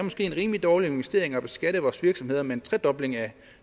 en rimelig dårlig investering at beskatte vores virksomheder med en tredobling af